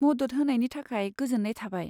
मदद होनायनि थाखाय गोजोन्नाय थाबाय।